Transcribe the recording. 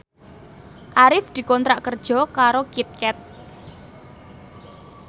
Arif dikontrak kerja karo Kit Kat